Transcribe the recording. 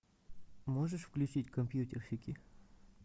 можешь включить компьютерщики